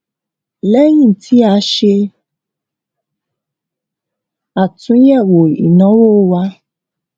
lẹyìn tí a ṣe àtúnyẹwò ináwó wa